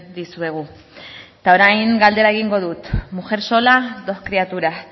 dizuegu eta orain galdera egingo dut mujer sola dos criaturas